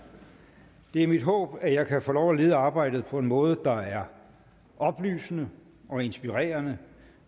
det er mit håb at jeg kan få lov at lede arbejdet på en måde der er oplysende og inspirerende